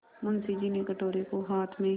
मुंशी जी ने कटोरे को हाथ में